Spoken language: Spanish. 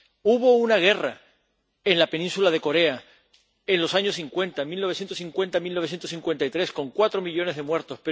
Hubo una guerra en la península de Corea en los años cincuenta, de 1950 a 1953, con cuatro millones de muertos.